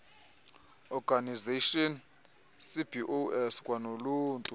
organisations cbos kwanoluntu